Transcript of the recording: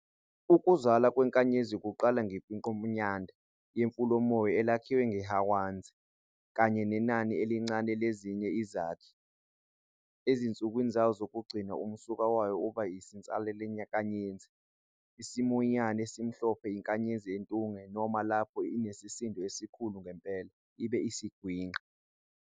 Ukuzalwa kwenkanyezi kuqala ngemfingqomNyanda yefulomoya elakhiwe ngeHwanzi, kanye nenani elincane lezinye izakhi. Ezinsukwini zayo zokugcina, umsuka wayo uba insalelankanyezi- isiThomiyana esimhlophe, iNkanyezi entunge, noma lapho inesisindo esikhulu ngempela, ibe isiGwinqa.